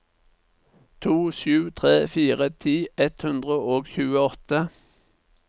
to sju tre fire ti ett hundre og tjueåtte